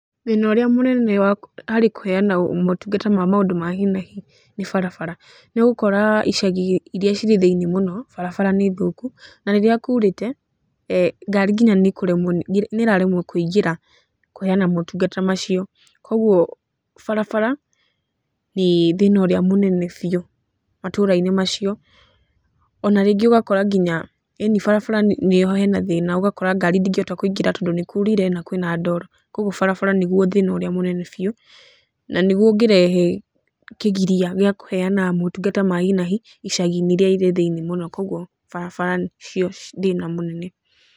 Thĩna ũrĩa mũnene harĩ kũheana motungata ma maũndũ ma hi na hi, nĩ barabara nĩ ũgũkora icagi iria irĩ thĩiniĩ mũno barabara nĩ thoku na rĩrĩa kurĩte, ngari nginya nĩ ikũremwo kũingĩra kũheana motungata macio, koguo barabara nĩ thĩna ũrĩa mũnene biũ matũra-inĩ macio, ona rĩngĩ ũgakora nginya, eeni barabara nĩho hena thĩna ũgakora ngari ndĩngĩhota kũingĩra tondũ nĩ kurire na kwĩna ndoro, koguo barabara nĩguo thĩna ũrĩa mũnene biũ, na nĩ guo ũngĩrehe kĩgiria gĩa kũheana motungata ma hi na hi icagi-ĩnĩ iria irĩ thĩiniĩ mũno, koguo barabara nĩcio thĩna ũrĩa mũnene.